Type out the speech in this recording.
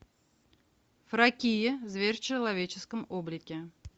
фракия зверь в человеческом облике